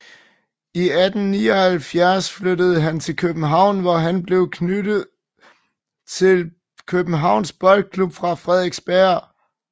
I 1879 flyttede han til København hvor han blev tilknyttet Kjøbenhavns Boldklub fra Frederiksberg